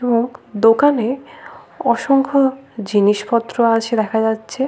মুখ। দোকানে অসংখ্য জিনিস পত্র আছে দেখা যাচ্ছে।